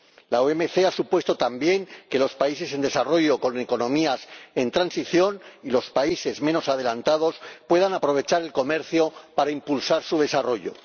La OMC ha supuesto también que los países en desarrollo, con economías en transición, y los países menos adelantados puedan aprovechar el comercio para impulsar su desarrollo.